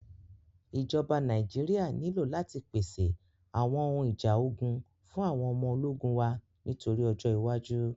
Ìjọba Nàíjíríà nílò láti pèsè àwọn ohun ìjà ogun fún àwọn ọmọ ológun wa nítorí ọjọ́ iwájú.